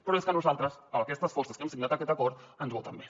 però és que a nosaltres aquestes forces que hem signat aquest acord ens voten bé